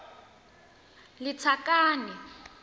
lethakane